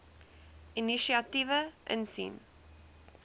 inisiatiewe insien